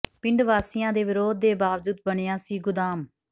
ਪਿੰਡ ਵਾਸੀਆਂ ਦੇ ਵਿਰੋਧ ਦੇ ਬਾਵਜੂਦ ਬਣਿਆ ਸੀ ਗੋਦਾਮ